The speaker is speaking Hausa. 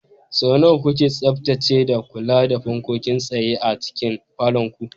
Sau nawa kuke tsaftacewa da kula da fankokin tsaye a cikin falon ku?